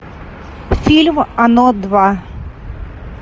фильм оно два